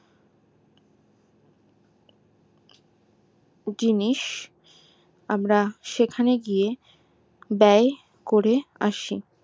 জিনিস আমরা সেখানে গিয়ে ব্যায় করে আসি